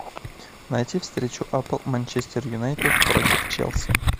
найти встречу апл манчестер юнайтед против челси